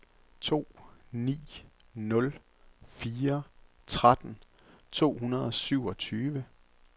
to ni nul fire tretten to hundrede og syvogtyve